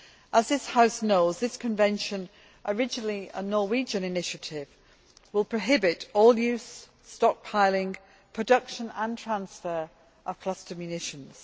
As this House knows, this Convention, originally a Norwegian initiative, will prohibit all use, stockpiling, production and transfer of cluster munitions.